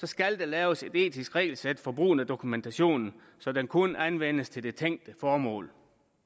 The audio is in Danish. skal der laves et etisk regelsæt for brugen af dokumentation så den kun anvendes til det tænke formål